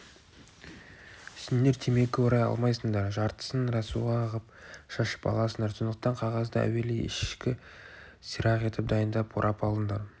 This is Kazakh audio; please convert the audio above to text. сендер темекі орай алмайсыңдар жартысын рәсуа ғып шашып аласыңдар сондықтан қағазды әуелі ешкі сирақ етіп дайындап орап алыңдар